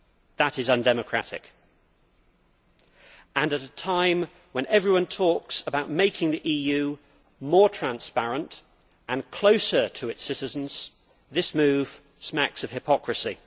That is undemocratic and, at a time when everyone talks about making the EU more transparent and closer to its citizens, this move smacks of hypocrisy.